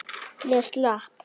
Ég slapp.